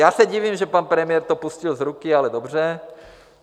Já se divím, že pan premiér to pustil z ruky, ale dobře.